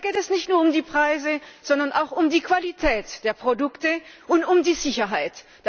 Da geht es nicht nur um die Preise, sondern auch um die Qualität der Produkte und um die Sicherheit.